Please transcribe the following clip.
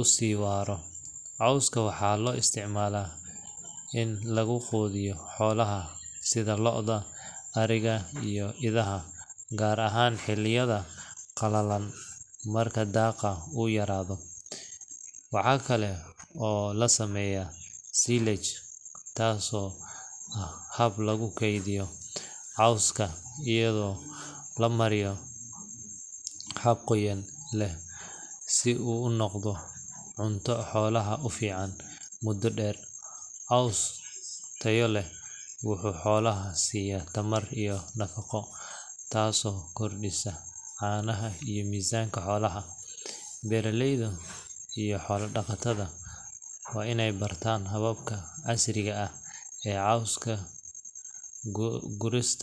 usi waaro, cooska waxaa loo isticmaala in lugu qudiyo xolaha sida lo'da ,ariga iyo idaha gaar ahan xilidayada qalalan marka daqa uu yaraado, waxaa kale oo lasameeya silage taaso ah hab lugu keydiyo cooska ayado lamariyo hab qoyan leh si u unoqdo cunto xolaha u fican muda dheer ,coos tayo leh wuxuu xolaha siya tayo iyo nafaqo taaso kordisa caanaha iyo misanka xolaha beeraleyda iyo xola dhaqatada way inay bartan hababka casriga ee cooska gurista